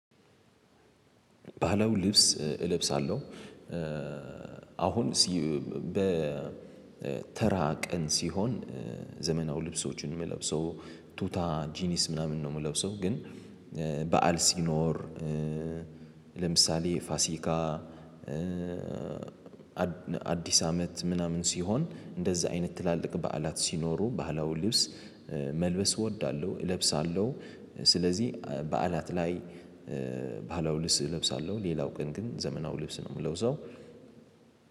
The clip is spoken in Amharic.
ባለው ልብስ እለብሳለሁ። አሁን በተራ ቀን ሲሆን ዘመናዊ ልብሶችን ምለብሰው ቱታ፣ ጂኒስ ምናምን ነው ምለብሰው። ግን በዓል ሲኖር ለምሳሌ ፋሲካ አዲስ አመት ምናምን ሲሆን እንደዛ አይነት ትላልቅ በዓላት ሲኖሩ ባህላዊ ልብስ መልበስ እወዳለሁ እለብሳለሁ። ስለዚህ በዓላት ላይ ባህላዊ ልብስ እለብሳለሁ። ሌላው ቀን ግን ዘመናው ልብስ ነው ምለብሰው።